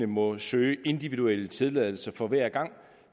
må søge individuel tilladelse for hver gang